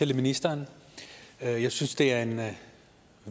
til ministeren jeg jeg synes det er en